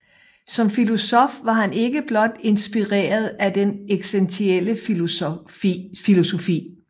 Som filosof var han ikke blot inspireret af den eksistentielle filosofi